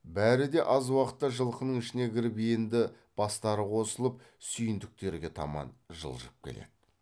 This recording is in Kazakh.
бәрі де аз уақытта жылқының ішіне кіріп енді бастары қосылып сүйіндіктерге таман жылжып келеді